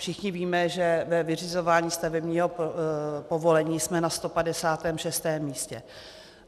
Všichni víme, že ve vyřizování stavebního povolení jsme na 156. místě.